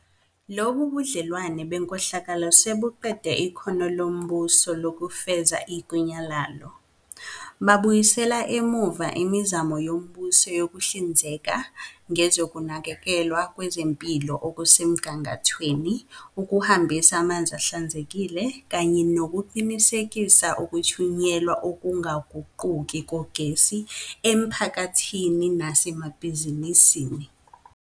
Lobu budlelwano benkohlakalo sebuqede ikhono lombuso lokufeza igunya lalo. Babuyisele emuva imizamo yombuso yokuhlinzeka ngezokunakekelwa kwezempilo okusemgangathweni, ukuhambisa amanzi ahlanzekile, kanye nokuqinisekisa ukuthunyelwa okungaguquki kogesi emiphakathini nasemabhizinisini.